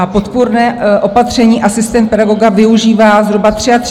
A podpůrné opatření, asistenta pedagoga, využívá zhruba 33 000 dětí.